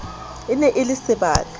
e ne e le sebaka